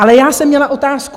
Ale já jsem měla otázku.